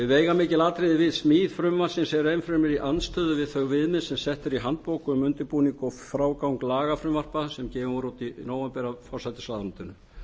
veigamikil atriði við smíð frumvarpsins er enn fremur í andstöðu við þau viðmið sem sett eru í handbók um undirbúning og frágang lagafrumvarpa sem gefin voru út í nóvember af forsætisráðuneytinu